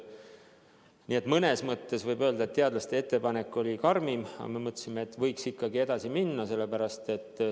Nii et mõnes mõttes võib öelda, et teadlaste ettepanek oli karmim, aga me mõtlesime, et võiks ikkagi edasi minna.